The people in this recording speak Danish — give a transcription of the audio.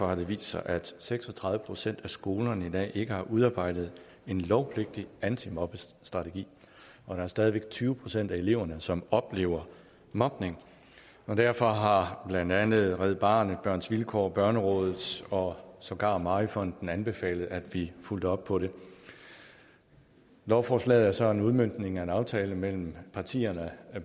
har det vist sig at seks og tredive procent af skolerne i dag ikke har udarbejdet en lovpligtig antimobningsstrategi og der er stadig væk tyve procent af eleverne som oplever mobning derfor har blandt andet red barnet børns vilkår og børnerådet og sågar mary fonden anbefalet at vi fulgte op på det lovforslaget er så en udmøntning af en aftale mellem partierne